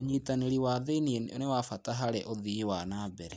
ũnyitanĩri wa thĩiniĩ nĩ wa bata harĩ ũthii wa na mbere.